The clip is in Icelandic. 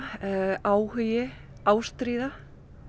áhugi ástríða